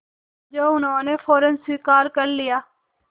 जो उन्होंने फ़ौरन स्वीकार कर लिया